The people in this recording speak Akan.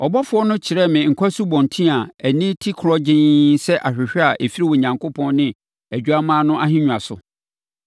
Ɔbɔfoɔ no kyerɛɛ me nkwa asubɔnten a ani te korɔgyenn sɛ ahwehwɛ a ɛfiri Onyankopɔn ne Odwammaa no ahennwa so,